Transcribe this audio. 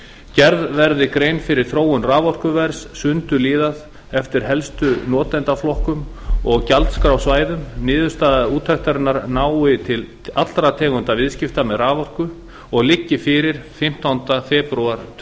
gerð verði grein fyrir þróun raforkuverðs sundurliðað eftir helstu notendaflokkum og gjaldskrársvæðum niðurstaða úttektarinnar nái til allra tegunda viðskipta með raforku og liggi fyrir fimmtánda febrúar tvö